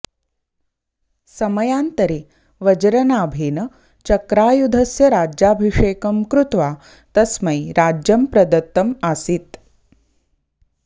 समयान्तरे वज्रनाभेन चक्रायुधस्य राज्याभिषेकं कृत्वा तस्मै राज्यं प्रदत्तम् आसीत्